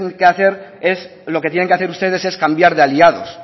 que hacer es lo que tienen que hacer ustedes es cambiar de aliados